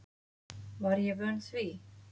Var ég vön því?